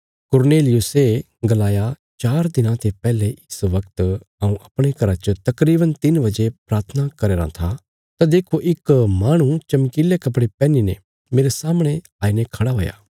कुरनेलियुसे गलाया चार दिनां ते पैहले इस वगत हऊँ अपणे घरा च तकरीवन तिन्न बजे प्राथना करया राँ था तां देखो इक माहणु चमकीले कपड़े पैहनीने मेरे सामणे आईने खड़ा हुआ